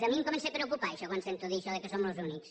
a mi em comença a preocupar això quan sento a dir això que som els únics